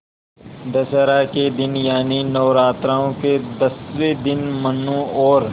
दशहरा के दिन यानि नौरात्रों के दसवें दिन मनु और